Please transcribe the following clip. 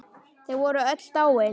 Þau voru öll dáin.